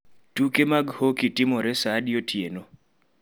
Tuke mag hockey timore saa adi otieno?